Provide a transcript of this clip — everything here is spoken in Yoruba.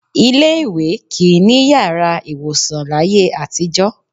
Ilé-ìwé kì í ní yàrá ìwòsàn láyé àtijọ́